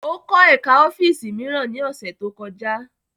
Ó kọ́ ẹ̀ká ọ́fíìsì mìíràn ní ọ̀sẹ̀ tó kọjá